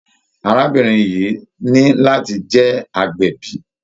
Arábìnrin yìí ní láti jẹ́ agbẹ̀bí.